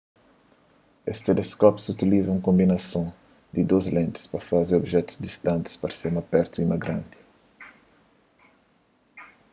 es teleskópius utiliza un konbinason di dôs lentis pa faze obijetus distantis parse más pertu y más grandi